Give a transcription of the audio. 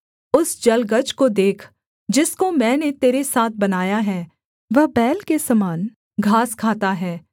उस जलगज को देख जिसको मैंने तेरे साथ बनाया है वह बैल के समान घास खाता है